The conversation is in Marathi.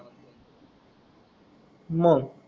मंग